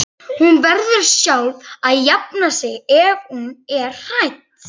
Hún verður sjálf að jafna sig ef hún er hrædd.